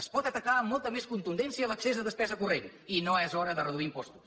es pot atacar amb molta més contundència l’accés a despesa corrent i no és hora de reduir impostos